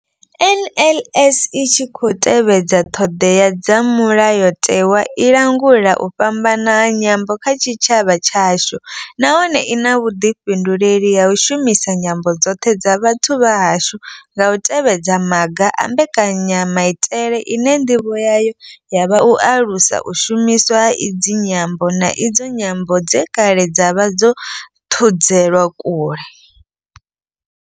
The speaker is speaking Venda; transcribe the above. NLS I tshi khou tevhedza ṱhodea dza mulayotewa, i langula u fhambana ha nyambo kha tshitshavha tshashu nahone I na vhuḓifhinduleli ha u shumisa nyambo dzoṱhe dza vhathu vha hashu nga u tevhedza maga a mbekanyamaitele ine nḓivho yayo ya vha u alusa u shumiswa ha idzi nyambo, na idzo nyambo dze kale dza vha dzo thudzelwa kule.